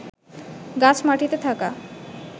গাছ মাটিতে থাকা